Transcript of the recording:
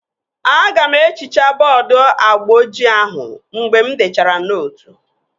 Aga m ehichaa bọọdu agba ojii ahụ mgbe m dechara nootu